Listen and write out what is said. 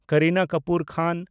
ᱠᱟᱨᱤᱱᱟ ᱠᱟᱯᱩᱨ ᱠᱷᱟᱱ